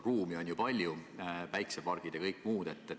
Ruumi on ju palju päikseparkide ja kõige muu jaoks.